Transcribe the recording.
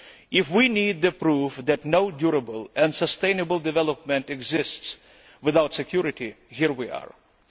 If we need proof that no durable and sustainable development exists without security, we have it here.